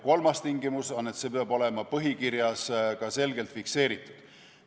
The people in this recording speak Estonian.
Kolmas tingimus on, et see peab olema põhikirjas ka selgelt fikseeritud.